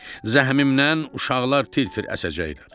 Zəhmimdən uşaqlar tir-tir əsəcəklər.